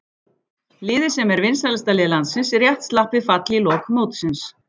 Liðið sem er vinsælasta lið landsins rétt slapp við fall í lok mótsins.